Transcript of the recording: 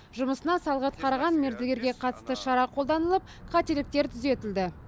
жұмысына салғырт қараған мердігерге қатысты шара қолданылып қателіктер түзетілді